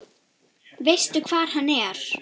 Veistu hvar hann er?